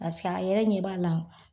Pasek'a yɛrɛ ɲɛ b'a la.